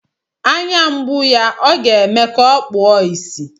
Anya mgbu ya ọ ga-eme ka o kpuo ìsì.